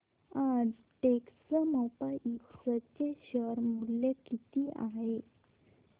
आज टेक्स्मोपाइप्स चे शेअर मूल्य किती आहे